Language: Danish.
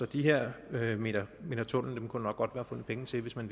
de her meter meter tunnel kunne der nok godt være fundet penge til hvis man